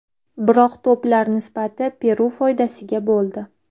Biroq to‘plar nisbati Peru foydasiga bo‘ldi.